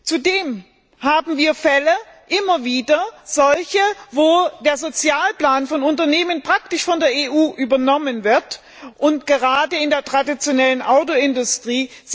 Zudem haben wir immer wieder Fälle, wo der Sozialplan von Unternehmen praktisch von der EU übernommen wird, gerade in der traditionellen Autoindustrie.